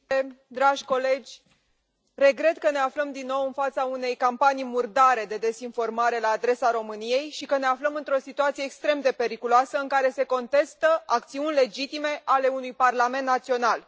Domnule președinte, dragi colegi, regret că ne aflăm din nou în fața unei campanii murdare de dezinformare la adresa României și că ne aflăm într o situație extrem de periculoasă, în care se contestă acțiuni legitime ale unui parlament național.